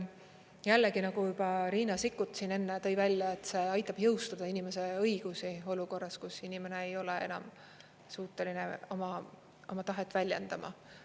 Jällegi, nagu juba Riina Sikkut tõi välja, see aitab jõustada inimese õigusi olukorras, kus inimene ei ole enam suuteline oma tahet väljendama.